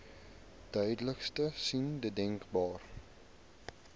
duidelikste sein denkbaar